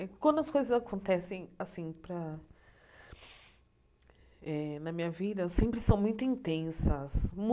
Quando as coisas acontecem assim para eh na minha vida, sempre são muito intensas.